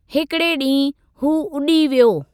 हिकिड़े ॾींहु हू उॾी वियो।